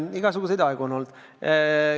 Igasuguseid aegu on olnud.